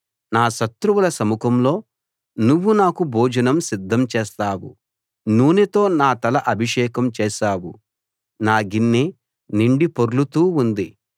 నా శత్రువుల సముఖంలో నువ్వు నాకు భోజనం సిద్ధం చేస్తావు నూనెతో నా తల అభిషేకం చేశావు నా గిన్నె నిండి పొర్లుతూ ఉంది